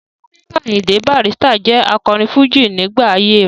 Sikiru Ayinde Barrister jẹ́ akọrin fújì nígbà ayé rẹ̀.